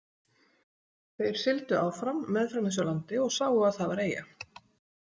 Þeir sigldu áfram meðfram þessu landi og sáu að það var eyja.